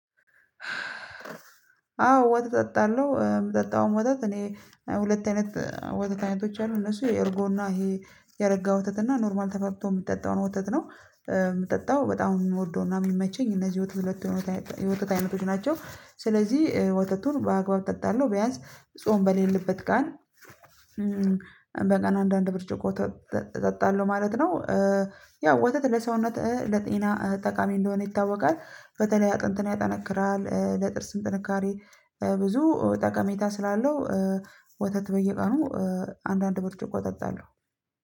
አዎ ወተት አጠጣለሁ የምጠጣውም ወተት እኔ ሁለት አይነት ወተት አይነቶች አሉ እነሱ የእርጎና ይሄ የረጋ ወተትና ኖርማል ተፈልቶ የሚጠጣውን ወተት ነው የምጠጣው በጣም የሚወደውና የሚመቸኝ እነዚህ ወተት ሁለት የወተት አይነቶች ናቸው። ስለዚህ ወተቱን በአግባብ እጠጣለሁ ቢያንስ ጾም በሌለበት ቀን በቀን አንዳንድ ብርጭቆ እጠጣለሁ ማለት ነው። ያው ወተት ለሰውነት ለጤና ጠቃሚ እንደሆነ ይታወቃል። በተለይ አጥንትን ያጠነክራል ለጥርስም ጥንካሬ ብዙ ጠቀሜታ ስላለው ወተት በየቀኑ አንዳንድ ብርጭቆ እጠጣለሁ።